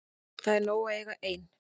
Það er nóg að eiga ein.